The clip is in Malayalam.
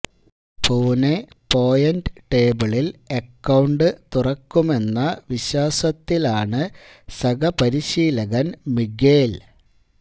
പൂനെ പോയിന്റ് ടേബിളില് അക്കൌണ്ട് തുറക്കുമെന്ന വിശ്വാസത്തിലാണ് സഹ പരിശീലകന് മിഗ്വേല്